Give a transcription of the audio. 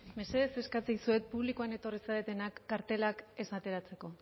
mesedez eskatzen dizuet publikoan etorri zaretenak kartelak ez ateratzeko